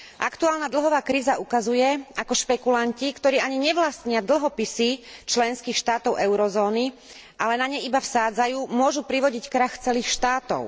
Aktuálna dlhová kríza ukazuje, ako špekulanti, ktorí ani nevlastnia dlhopisy členských štátov eurozóny, ale na ne iba vsádzajú, môžu privodiť krach celých štátov.